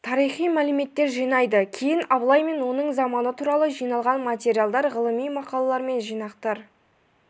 тарихи мәлметтер жинайды кейін абылай мен оның заманы туралы жиналған материалдар ғылыми мақалалар мен жинақтар